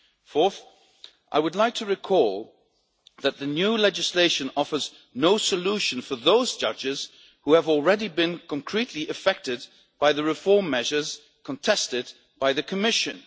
Fourth, I would like to recall that the new legislation offers no solution for those judges who have already been concretely affected by the reform measures contested by the Commission.